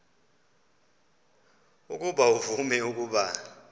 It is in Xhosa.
ukuba uvume ukuba